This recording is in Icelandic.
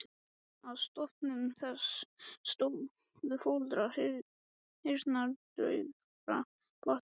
Að stofnun þess stóðu foreldrar heyrnardaufra barna.